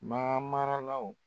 Maa maralaw